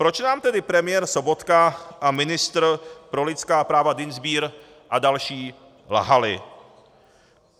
Proč nám tedy premiér Sobotka a ministr pro lidská práva Dienstbier a další lhali?